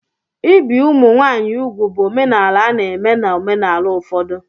Ibi ụmụ nwanyị úgwù bụ omenala a na-eme na omenala ụfọdụ.